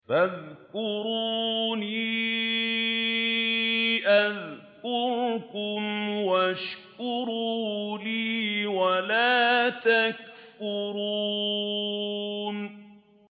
فَاذْكُرُونِي أَذْكُرْكُمْ وَاشْكُرُوا لِي وَلَا تَكْفُرُونِ